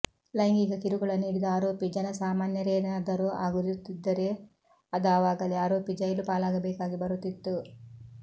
ಲೈಂಗಿಕ ಕಿರುಕುಳ ನೀಡಿದ ಆರೋಪಿ ಜನಸಾಮಾನ್ಯರೇನಾದರೂ ಆಗಿರುತ್ತಿದ್ದರೆ ಅದಾವಾಗಲೇ ಆರೋಪಿ ಜೈಲು ಪಾಲಾಗಬೇಕಾಗಿ ಬರುತ್ತಿತ್ತು